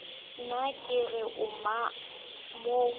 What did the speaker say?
ne ke re o mo